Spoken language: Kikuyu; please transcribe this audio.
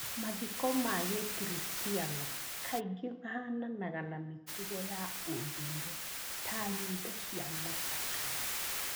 Mathiko ma Gĩkristiano kaingĩ mahananaga na mĩtugo ya ũndũire ta nyĩmbo cia macakaya.